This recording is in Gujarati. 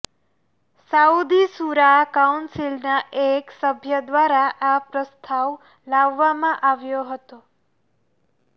સાઉદી શુરા કાઉન્સિલના એક સભ્ય દ્વારા આ પ્રસ્તાવ લાવવામાં આવ્યો હતો